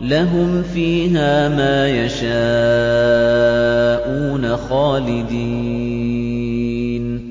لَّهُمْ فِيهَا مَا يَشَاءُونَ خَالِدِينَ ۚ